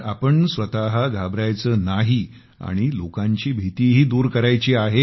आपण स्वतः घाबरायचं नाही आणि लोकांची भीतीही दूर करायची आहे